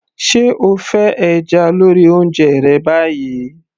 se o fẹ́ ẹja lórí oúnjẹ rẹ báyìí